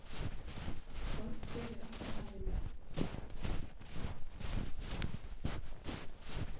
Þorgeir er ekki talinn með.